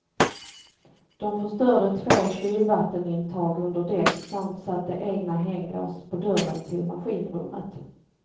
De förstörde två kylvattenintag under däck samt satte egna hänglås på dörren till maskinrummet.